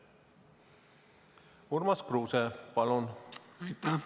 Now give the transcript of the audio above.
Urmas Kruuse, palun!